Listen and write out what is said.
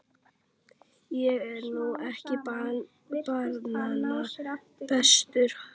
Ég er nú ekki barnanna bestur, ha.